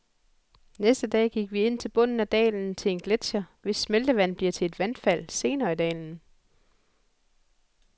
Næste dag gik vi ind til bunden af dalen til en gletcher, hvis smeltevand bliver til et vandfald senere i dalen.